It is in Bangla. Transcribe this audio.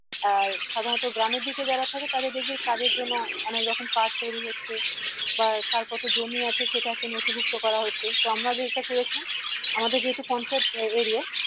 আহ সাধারণত গ্রামের দিকে যারা থাকে তাদের দেখবি কাজের জন্য অনেকরকম card তৈরী হচ্ছে বা তার কত জমি আছে সেটাকে নথিভুক্ত করা হচ্ছে তো আমরা যেটা করেছিলাম আমাদের যেহেতু পঞ্চায়েত area